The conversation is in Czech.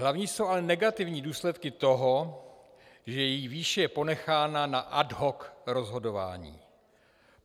Hlavní jsou ale negativní důsledky toho, že její výše je ponechána na ad hoc rozhodování.